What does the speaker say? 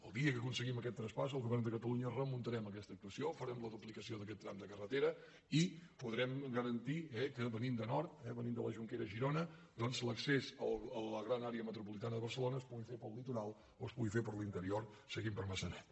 el dia que aconseguim aquest traspàs el govern de catalunya remuntarem aquesta actuació farem la duplicació d’aquest tram de carretera i podrem garan·tir que venint de nord venint de la jonquera a girona doncs l’accés a la gran àrea metropolitana de barce·lona es pugui fer pel litoral o es pugui fer per l’inte·rior seguint per maçanet